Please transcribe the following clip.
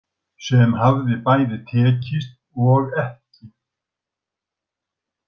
Sem hafði bæði tekist og ekki.